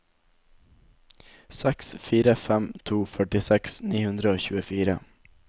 seks fire fem to førtiseks ni hundre og tjuefire